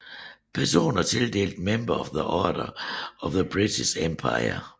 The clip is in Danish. Personer tildelt Member of the Order of the British Empire